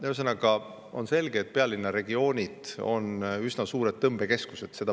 Ühesõnaga, on selge, et pealinnaregioonid on üsna suured tõmbekeskused.